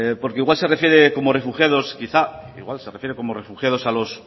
porque igual se refiere como refugiados quizá igual se refiere como refugiados a los